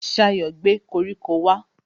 Ṣayọ̀ gbé koríko wá